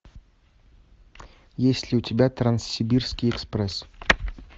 есть ли у тебя транссибирский экспресс